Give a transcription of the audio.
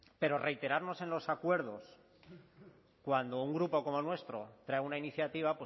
pero reiterarnos en los acuerdos cuando un grupo como el nuestro trae una iniciativa